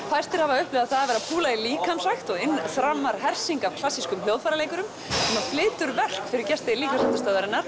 fæstir hafa upplifað það að vera að púla í líkamsrækt og inn þrammar hersing af klassískum hljóðfæraleikurum sem flytja verk fyrir gesti